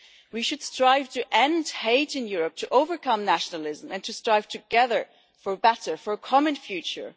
We should strive to end hate in Europe, to overcome nationalism and to strive together for a better and a common future.